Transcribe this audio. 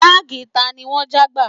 Báàgì tani wọ́n já gbà?